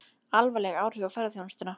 Alvarleg áhrif á ferðaþjónustuna